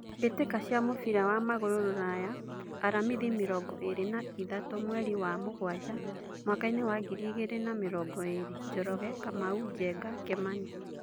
Mbĩtĩka cia mũbira wa magũrũ Ruraya Aramithi mĩrongo ĩrĩ na ithatũ mweri wa mũgwanja mwakainĩ wa ngiri igĩrĩ na mĩrongo ĩrĩ: Njoroge, Kamau, Njenga, Kimani.